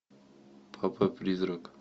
папа призрак